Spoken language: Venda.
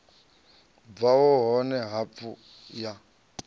bvaho hone ha hafu ya